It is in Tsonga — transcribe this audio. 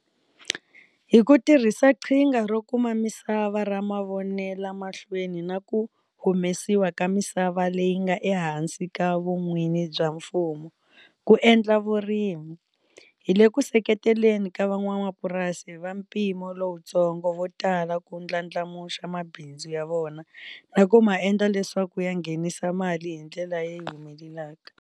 Hi ku tirhisa Qhinga ro Kuma Misava ra Mavonelamahlweni na ku humesiwa ka misava leyi nga ehansi ka vun'wini bya mfumo ku endla vurimi, hi le ku seketeleni ka van'wamapurasi va mpimo lowutsongo vo tala ku ndlandlamuxa mabindzu ya vona na ku ma endla leswaku ya nghenisa mali hi ndlela leyi humelelaka.